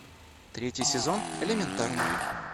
третий сезон элементарно